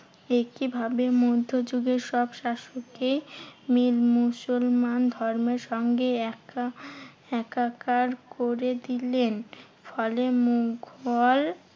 একই ভাবে মধ্যযুগের সব শাসকই মিল মুসলমান ধর্মের সঙ্গে একা~ একাকার করে দিলেন। ফলে মুঘল